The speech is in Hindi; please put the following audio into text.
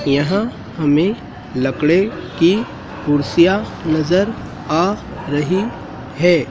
यहां हमें लकड़े की कुर्सियां नजर आ रही हैं।